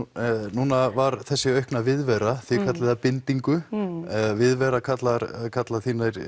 núna var þessi aukna viðvera þið kallið hana bindingu viðvera kalla kalla